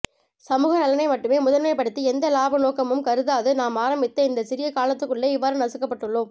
சமுக நலனை மட்டுமே முதன்மைபடுத்தி எந்த இலாப நோக்கமும் கருதாது நாம் ஆரம்பித்த இந்த சிறிய காலத்துக்குள்ளே இவ்வாறு நசுக்கப்பட்டுள்ளோம்